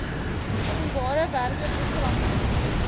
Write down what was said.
openbare werke programme